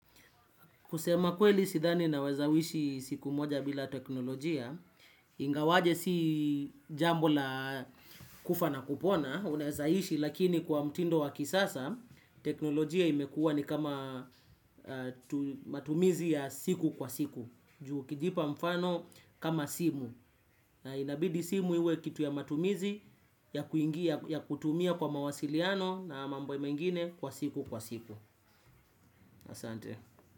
Kusema kweli sidhani naweza wishi siku moja bila teknolojia, ingawaje si jambo la kufa na kupona, unaeza ishi lakini kwa mtindo wa kisasa, teknolojia imekuwa ni kama matumizi ya siku kwa siku, ju ukijipa mfano kama simu, na inabidi simu iwe kitu ya matumizi ya kutumia kwa mawasiliano na mambo mengine kwa siku kwa siku. Asante.